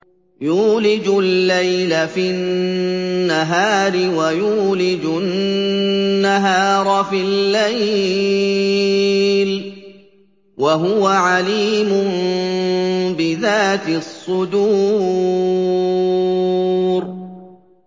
يُولِجُ اللَّيْلَ فِي النَّهَارِ وَيُولِجُ النَّهَارَ فِي اللَّيْلِ ۚ وَهُوَ عَلِيمٌ بِذَاتِ الصُّدُورِ